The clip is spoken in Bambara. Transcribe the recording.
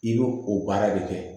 I bɛ o baara de kɛ